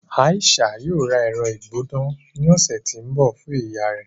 Aisha yóò rà ẹrọ-igbona ni ọsẹ ti ńbọ fun iyà rẹ.